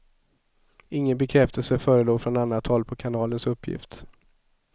Ingen bekräftelse förelåg från annat håll på kanalens uppgift.